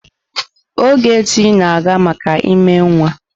Ogechi na-aga maka ímé nwa.